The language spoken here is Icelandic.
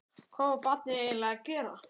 Hvað var barnið eiginlega að gera?